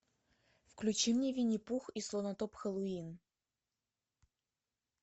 включи мне винни пух и слонотоп хэллоуин